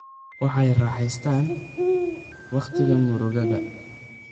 Waxay raaxaystaan ??wakhtiga murugada.